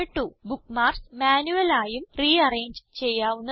bookmarks manual ആയും rearrange ചെയ്യാവുന്നതാണ്